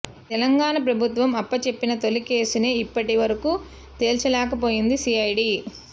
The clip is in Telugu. తెలంగాణ ప్రభుత్వం అప్పచెప్పిన తొలి కేసునే ఇప్పటి వరకూ తేల్చలేకపోయింది సిఐడి